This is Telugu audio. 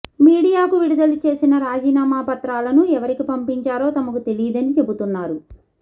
మీడియాకు విడుదల చేసిన రాజీనామా పత్రాలను ఎవరికి పంపించారో తమకు తెలీదని చెబుతున్నారు